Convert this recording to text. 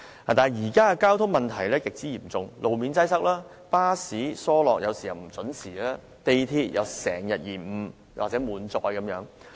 但是，現時的交通問題極為嚴重，路面擠塞，巴士班次疏落及不準時，港鐵亦經常延誤和滿載。